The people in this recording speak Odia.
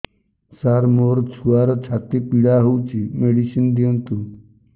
ସାର ମୋର ଛୁଆର ଛାତି ପୀଡା ହଉଚି ମେଡିସିନ ଦିଅନ୍ତୁ